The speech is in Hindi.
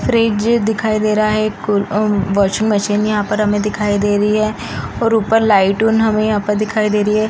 फ्रिज दिखाई दे रहा है एक अम्म वॉशिंग मशीन यहाँ पर हमें दिखाई दे रही और ऊपर लाइट हमें यहाँ पर दिखाई दे रही।